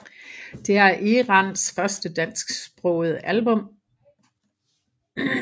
Det er Eranns første dansksprogede album